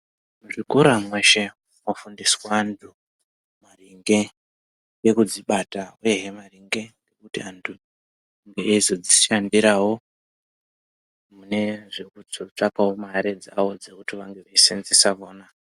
Muzvikora mweshe munofundiswa antu, maringe ngekudzibata, uyehe maringe nekuti antu ange eizodzishandirawo, mune kuzotsvakawo mare dzavo, dzekuti vazoseenzesa vona.